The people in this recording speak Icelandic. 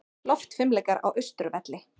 Loftfimleikar á Austurvelli